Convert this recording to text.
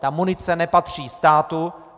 Ta munice nepatří státu.